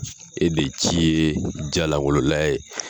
E de cI ye ja lankolon layɛ ye.